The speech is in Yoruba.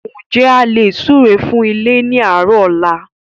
N jẹ́ a lè súre fún ilé ni àárọ̀ ọ̀la?